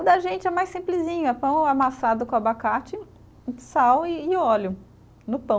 O da gente é mais simplesinho, é pão amassado com abacate, sal e óleo no pão.